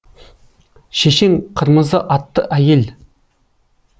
шешең қырмызы атты әйел